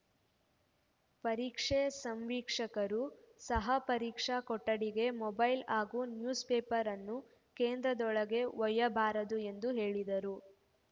ಪರೀಕ್ಷೆ ಸಂವೀಕ್ಷಕರು ಸಹ ಪರೀಕ್ಷಾ ಕೊಠಡಿಗೆ ಮೊಬೈಲ್‌ ಹಾಗೂ ನ್ಯೂಸ್‌ ಪೇಪರ್‌ನ್ನು ಕೇಂದ್ರದೊಳಗೆ ಒಯ್ಯಬಾರದು ಎಂದು ಹೇಳಿದರು